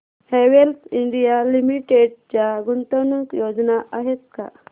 Havells India limited च्या गुंतवणूक योजना आहेत का